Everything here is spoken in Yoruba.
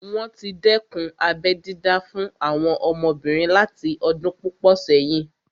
Wọ́n tí dẹ́kun abẹ́ dídá fún àwọn ọmọbìnrin láti ọdún púpọ̀ sẹ́yìn